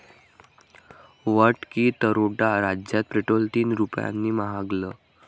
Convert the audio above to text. VAT की दरोडा? राज्यात पेट्रोल तीन रुपयांनी महागलं